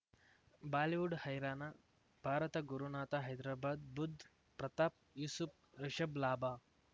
Bollywood ಹೈರಾಣ ಭಾರತ ಗುರುನಾಥ ಹೈದ್ರಾಬಾದ್ ಬುಧ್ ಪ್ರತಾಪ್ ಯೂಸುಫ್ ರಿಷಬ್ ಲಾಭ